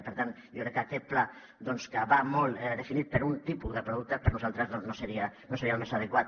i per tant jo crec que aquest pla que va molt definit per un tipus de producte doncs per nosaltres no seria el més adequat